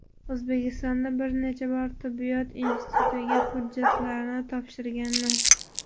O‘zbekistonda bir necha bor tibbiyot institutiga hujjatlarimni topshirganman.